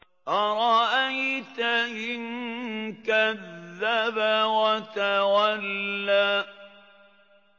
أَرَأَيْتَ إِن كَذَّبَ وَتَوَلَّىٰ